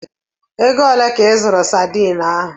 Ego ole ka ị zụrụ Sadiin ahụ?